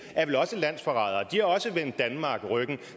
er vel også landsforrædere de har også vendt danmark ryggen